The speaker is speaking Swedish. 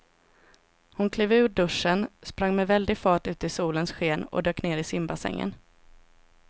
Hon klev ur duschen, sprang med väldig fart ut i solens sken och dök ner i simbassängen.